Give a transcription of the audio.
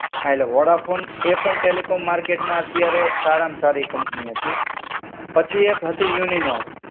હા એટલે વોડાફોન, એ પણ ટેલિકોમ માર્કેટમાં અત્યારે સારામાં સારી કંપની હતી. પછી એક હતી યુનિનોર.